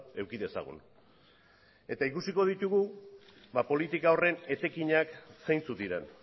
eduki dezagun eta ikusiko ditugu ba politika horren etekinak zeintzuk diren